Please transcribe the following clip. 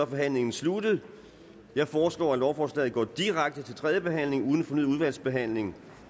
forhandlingen sluttet jeg foreslår at lovforslaget går direkte til tredje behandling uden fornyet udvalgsbehandling